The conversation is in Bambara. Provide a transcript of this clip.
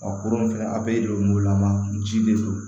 Ɔ kurun fɛnɛ a bɛɛ de don wo lama ji de don